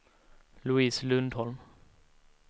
Louise Lundholm